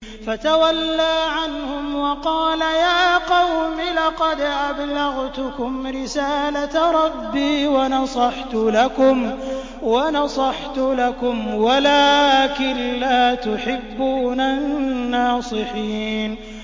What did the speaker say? فَتَوَلَّىٰ عَنْهُمْ وَقَالَ يَا قَوْمِ لَقَدْ أَبْلَغْتُكُمْ رِسَالَةَ رَبِّي وَنَصَحْتُ لَكُمْ وَلَٰكِن لَّا تُحِبُّونَ النَّاصِحِينَ